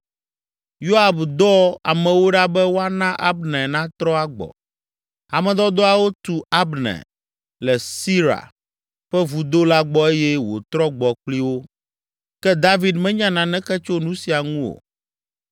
Yoab dɔ amewo ɖa be woana Abner natrɔ agbɔ. Ame dɔdɔawo tu Abner le Sira ƒe vudo la gbɔ eye wòtrɔ gbɔ kpli wo. Ke David menya naneke tso nu sia ŋu o.